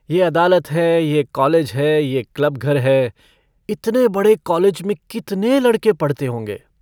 यह अदालत है यह कालेज है यह क्लबघर है इतने बड़े कालेज में कितने लड़के पढ़ते होंगे।